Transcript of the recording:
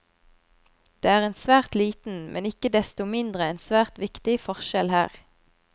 Det er en svært liten, men ikke desto mindre en svært viktig forskjell her.